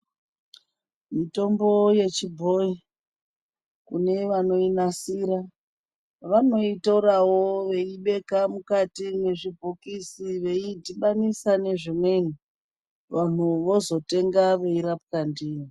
Mitombo yechibhoyi ,kune vanoinasira, vanoitorawo veibeka mukati mwezvibhokisi, veidhibanisa nezvimweni, vanhu vozotenga veirapwa ndiyo.